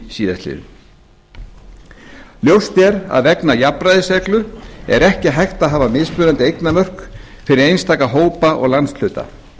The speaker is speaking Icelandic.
síðastliðinn ljóst er vegna jafnræðisreglu að ekki er hægt að hafa mismunandi eignamörk fyrir einstaka hópa og landshluta